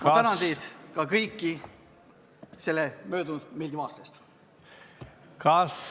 Ma tänan teid, ka kõiki selle möödunud meeldiva aasta eest!